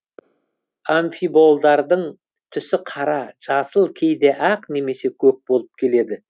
амфиболдардың түсі қара жасыл кейде ақ немесе көк болып келеді